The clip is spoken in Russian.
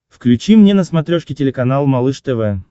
включи мне на смотрешке телеканал малыш тв